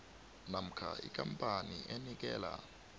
namkha ikampani enikela